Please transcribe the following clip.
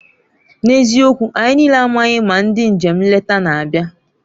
N'eziokwu! anyị niile amaghị ma ndị njem nleta na-abịa.